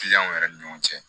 Kiliyanw yɛrɛ ni ɲɔgɔn cɛ